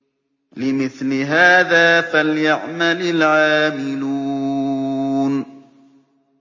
لِمِثْلِ هَٰذَا فَلْيَعْمَلِ الْعَامِلُونَ